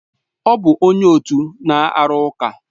Ọ bụ onye otu na-arụ ụka